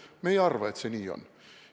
Me ei arva, et see nii on.